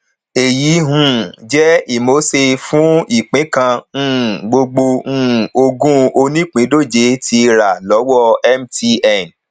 àwọn ìṣẹlẹ mìíràn tó wáyé nínú ètò ìfòròwéròpọ ní ọjọ sunday ether tó jẹ owó ìfòròwéròpọ